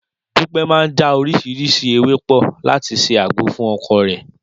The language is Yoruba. Dúpẹ́ máa já oríṣiríṣi ewé pọ̀ láti ṣe àgbo fún ọkọ rẹ̀